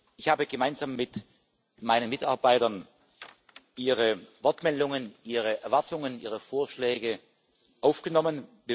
Ich habe gemeinsam mit meinen Mitarbeitern Ihre Wortmeldungen, Ihre Erwartungen, Ihre Vorschläge aufgenommen.